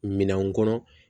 Minɛnw kɔnɔ